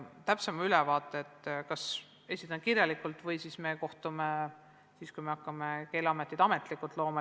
Täpsema ülevaate esitan kas kirjalikult või siis, kui me hakkame Keeleametit ametlikult looma.